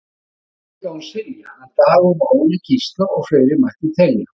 Þarna er líka hún Silja, hann Dagur og Óli Gísla og fleiri mætti telja.